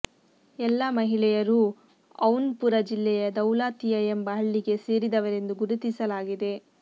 ಎಲ್ಲ ಮಹಿಳೆಯರೂ ಜೌನ್ಪುರ ಜಿಲ್ಲೆಯ ದೌಲಾತಿಯಾ ಎಂಬ ಹಳ್ಳಿಗೆ ಸೇರಿದವರೆಂದು ಗುರುತಿಸಲಾಗಿದೆ